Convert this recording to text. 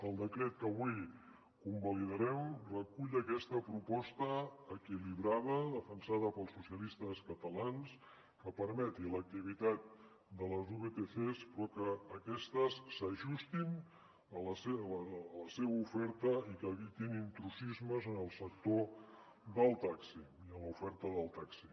el decret que avui convalidarem recull aquesta proposta equilibrada defensada pels socialistes catalans que permeti l’activitat de les vtcs però que aquestes s’ajustin a la seva oferta i que evitin intrusismes en el sector del taxi i en l’oferta del taxi